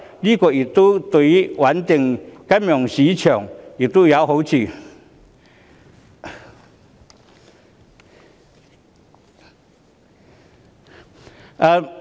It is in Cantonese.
這對於穩定金融市場有好處。